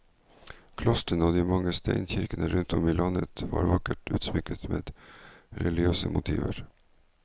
Klostrene og de mange steinkirkene rundt om i landet var vakkert utsmykket med religiøse motiver.